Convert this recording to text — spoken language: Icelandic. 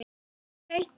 Hreint æði!